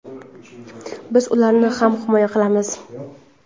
biz ularni ham himoya qilamiz.